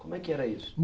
Como é que era isso?